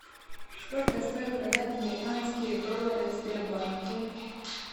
сколько стоит продать американские доллары в сбербанке